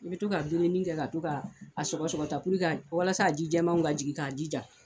I bɛ to ka dumuni kɛ ka to k'a sɔgɔsɔgɔ walasa ji jɛmanw ka jigin k'a jija.